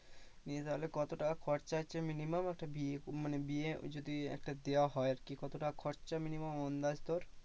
নিয়ে তাহলে কত টাকা খরচা হচ্ছে minimum একটা বিয়ে মানে বিয়ে যদি একটা দেওয়া হয় আর কি কত টাকা খরচা আরকি minimum আন্দাজ তোর?